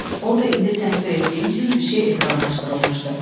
Orda indi təsvir etdiyim kimi bir şey ekranlaşdırılmışdı.